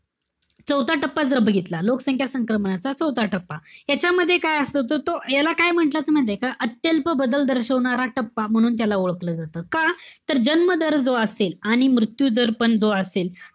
चौथा टप्पा जर बघितला. लोकसंख्या संक्रमणाचा चौथा टप्पा. त्याच्यामध्ये काय असत? तर तो याला काय म्हणतात? माहितेय का, अत्यल्प बदल दर्शवणारा टप्पा, म्हणून त्याला ओळखलं जात. का? तर जन्म दर जो असेल, आणि मृत्यू दर पण जो असेल,